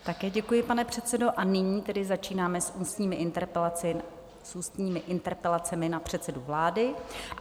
Také děkuji, pane předsedo, a nyní tedy začínáme s ústními interpelacemi na předsedu vlády.